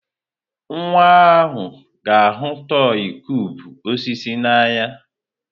Nwa ahụ ga-ahụ tọị kụubụ osisi n'anya.